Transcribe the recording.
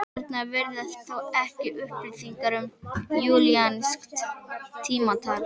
Þarna virðast þó ekki vera upplýsingar um júlíanskt tímatal.